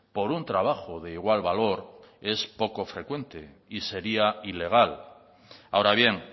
por un trabajo de igual valor es poco frecuente y sería ilegal ahora bien